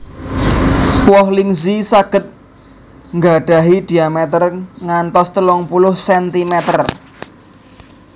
Woh Lingzhi saged nggadhahi dhiamétér ngantos telung puluh centimeter